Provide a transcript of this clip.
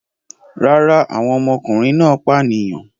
Rárá, àwọn ọmọkùnrin náà pànìyàn.